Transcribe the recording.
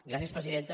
gràcies presidenta